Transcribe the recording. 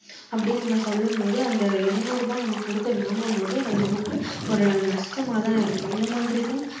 அப்படியே நம்ம சொல்லும்போது அந்த இருநூறு ரூபா நம்ம கொடுத்த வாங்கும்போது அது நமக்கு ஒரு நஷ்டமா தான் இருக்கும் இந்த மாதிரி தான்